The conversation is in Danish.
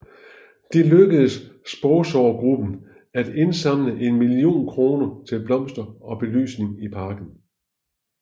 Det lykkedes sponsorgruppen at indsamle en million kroner til blomster og belysning i parken